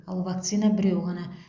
ал вакцина біреу ғана